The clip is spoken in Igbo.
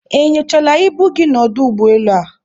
E nyochaala ibu gị n'ọdụ ụgbọelu a?